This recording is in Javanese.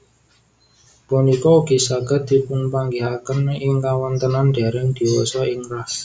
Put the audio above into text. Punika ugi saged dipunpanggihaken ing kawontenan dèrèng diwasa ing rah